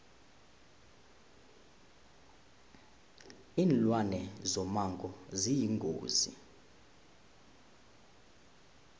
linlwane zomango ziyingozi